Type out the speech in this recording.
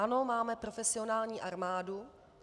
Ano, máme profesionální armádu.